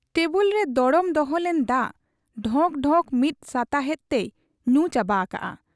ᱴᱮᱵᱩᱞᱨᱮ ᱫᱚᱲᱚᱢ ᱫᱚᱦᱚ ᱞᱮᱱ ᱫᱟᱜ ᱰᱷᱚᱠ ᱰᱷᱚᱠ ᱢᱤᱫ ᱥᱟᱛᱟᱦᱮᱸᱫ ᱛᱮᱭ ᱧᱩ ᱪᱟᱵᱟ ᱟᱠᱟᱜ ᱟ ᱾